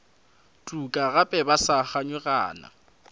tuka gape ba sa kganyogana